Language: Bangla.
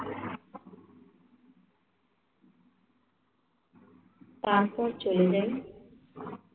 তারপর চলে যাই